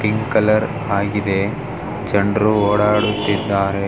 Pink colour ಆಗಿದೆ ಜನರು ಓಡಾಡುತಿದ್ದರೆ.